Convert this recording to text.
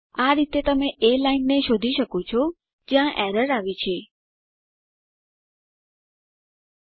આ રીતે તમે એ લાઈનને શોધી શકો છો જ્યાં એરર આવી છે અને તેને સુધારી પણ શકો છો